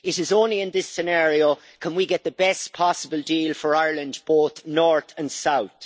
It is only in this scenario, can we get the best possible deal for Ireland both North and South.